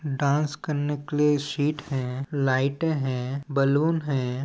Dance करने के लिए शीट हैलाईटे है बलून हैं।